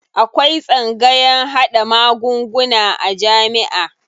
Akwai tsangayan haɗa magunguna a jamiʼa.